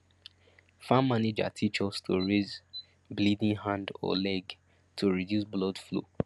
farm manager teach us to raise bleeding hand or leg to reduce blood flow